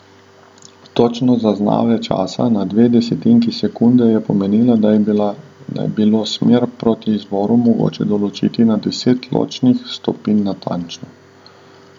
Točnost zaznave časa na dve desetinki sekunde je pomenila, da je bilo smer proti izvoru mogoče določiti na deset ločnih stopinj natančno.